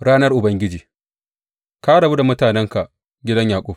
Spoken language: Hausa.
Ranar Ubangiji Ka rabu da mutanenka, gidan Yaƙub.